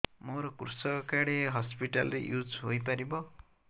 ମୋର କୃଷକ କାର୍ଡ ଏ ହସପିଟାଲ ରେ ୟୁଜ଼ ହୋଇପାରିବ